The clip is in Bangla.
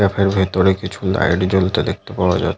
ক্যাফে এর ভেতরে কিছু লাইট জ্বলতে দেখতে পাওয়া যা--